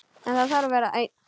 Hann þarf að vera einn.